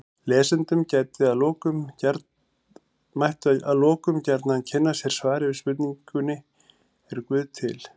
Lesendur mættu að lokum gjarnan kynna sér svarið við spurningunni Er guð til?